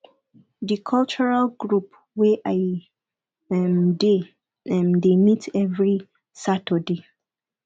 di cultural group wey i um dey um dey meet every saturday